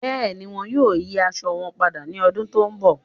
Bẹẹ̀ni, wọn yóò yí àṣọ wọn pádà ni ọ̀dún tó nbọ̀